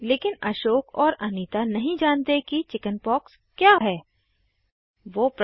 लेकिन अशोक और अनीता नहीं जानते कि चिकिन्पॉक्सचेचक क्या होती हैं160